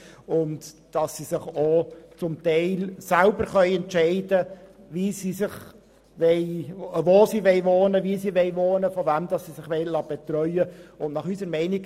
Sie können zum Teil selber entscheiden, wo und wie sie wohnen und von wem sie sich betreuen lassen wollen.